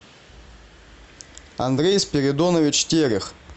андрей спиридонович терех